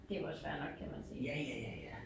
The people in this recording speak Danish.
Det jo også fair nok kan man sige